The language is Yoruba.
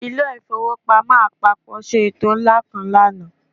Ilé ìfowópamọ́ àpapọ̀ ṣe ètò ńlá kan lánàá